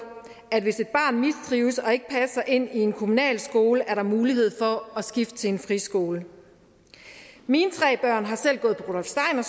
at hvis et barn mistrives og ikke passer ind i en kommunal skole er der mulighed for at skifte til en friskole mine tre børn har selv gået på rudolf steiner